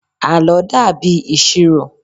àlọ dàbí ìṣirò